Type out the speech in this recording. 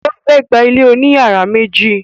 O fẹ gbà ilé oní yàrá méjì.